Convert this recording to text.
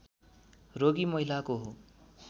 रोगी महिलाको हो